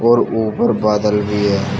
और ऊपर बादल भी है।